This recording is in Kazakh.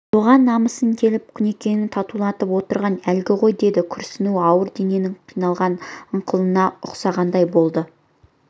соған намысы келіп құнекеңнің қатуланып отырғаны әлгі ғой деді күрсінуі ауру дененің қиналған ыңқылына ұқсағандай болды